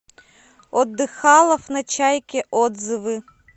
отдыхалов на чайке отзывы